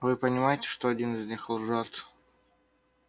а вы понимаете что один из них лжёт